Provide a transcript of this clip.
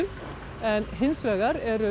en hins vegar eru